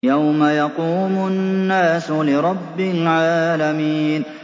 يَوْمَ يَقُومُ النَّاسُ لِرَبِّ الْعَالَمِينَ